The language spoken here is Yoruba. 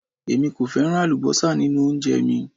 Èmi kò fẹ́ràn àlúbósà nínú oúnjẹ mi